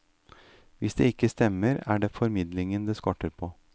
Hvis det ikke stemmer, er det formidlingen det skorter på.